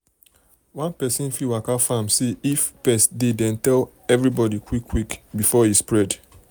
one person fit waka farm see if farm see if pest dey then tell everybody quick quick before e spread.